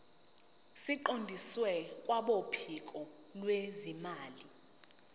siqondiswe kwabophiko lwezimali